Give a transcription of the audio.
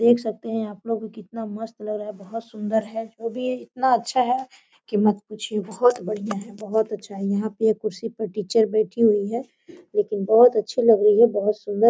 देख सकते हैं आप लोग कितना मस्त लग रहा है बहुत सुंदर है भी इतना अच्छा है कि मत पूछिए बहुत बढ़िया है बहुत अच्छा है यहाँ पे कुर्सी पर टीचर बैठी हुई है लेकिन बहुत अच्छी लग रही है बहुत सुंदर।